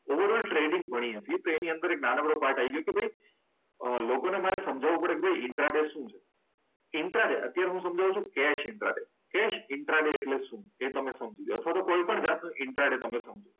Over all trading ભરીએ છીએ તો એની અંદર નાનકડો પાર્ટ આઈ ગયો કે ભાઈ લોકોને મારે સમજાવવું પડે કે ભાઈ ઇન્ટ્રા ડે શું છે? ઇન્ટ્રા ડે અત્યારે હું સમજાવું છું. Intraday. Cash intraday એટલે શું? એ તમે સમજી લો અથવા તો કોઈ પણ જાતનું ઇન્ટ્રાટેડ તમે સમજો.